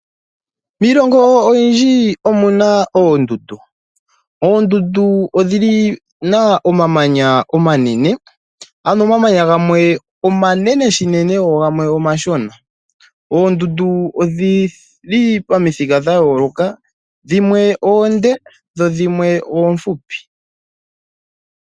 Miilongo oyindji omuna oondundu, oondundu odhina omamanya omanene ano omamanya gamwe omanene shinene go gamwe omashona. Oondundu odhili pamithika dhayooloka dhimwe oonde dho dhimwe oofupi.